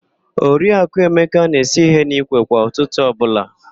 Oriaku Emeka na-esu ihe n'ikwe kwa ụtụtụ ọbụla.